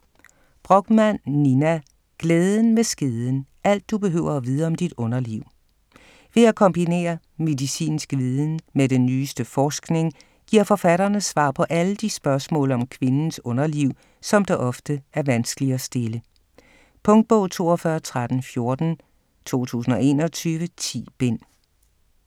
Brochmann, Nina: Glæden med skeden: alt du behøver at vide om dit underliv Ved at kombinere medicinsk viden med den nyeste forskning, giver forfatterne svar på alle de spørgsmål om kvindens underliv, som det ofte er vanskeligt at stille. Punktbog 421314 2021. 10 bind.